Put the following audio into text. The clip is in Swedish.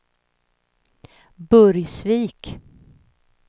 Burgsvik